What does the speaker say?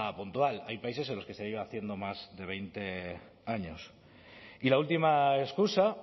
puntual hay países en los que se lleva haciendo más de veinte años y la última excusa